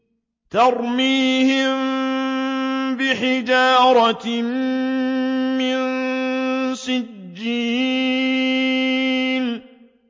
تَرْمِيهِم بِحِجَارَةٍ مِّن سِجِّيلٍ